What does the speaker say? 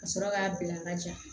Ka sɔrɔ k'a bila ka ja